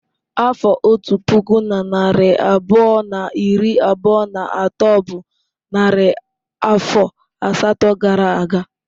Afọ otu puku na narị abụọ na iri abụọ na atọ bụ narị afọ asatọ gara aga.